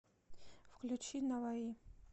включи наваи